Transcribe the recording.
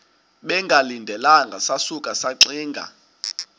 bengalindelanga sasuka saxinga